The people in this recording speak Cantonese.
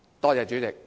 多謝主席。